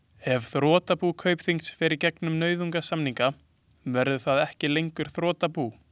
Ef þrotabú Kaupþings fer í gegnum nauðasamninga verður það ekki lengur þrotabú.